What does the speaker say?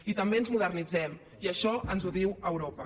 i també ens modernitzem i això ens ho diu europa